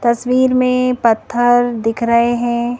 तस्वीर में पत्थर दिख रहे हैं।